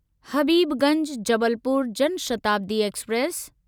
Habibganj Jabalpur Jan Shatabdi express